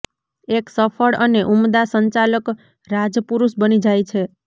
એક સફળ અને ઉમદા સંચાલક રાજપુરૂષ બની જાય છે